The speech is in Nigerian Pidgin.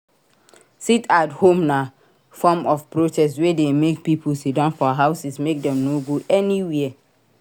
Sit at home na form of protest wey de make pipo sitdown for houses make dem no go anywhere